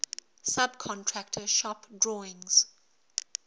subcontractor shop drawings